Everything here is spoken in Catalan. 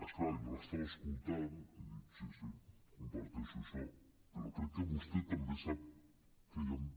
és clar jo l’estava escoltant i dic sí sí comparteixo això però crec que vostè també sap que hi han